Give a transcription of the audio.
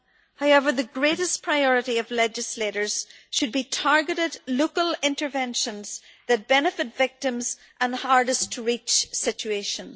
However, the greatest priority of legislators should be targeted, local interventions that benefit victims in the hardest-to-reach situations.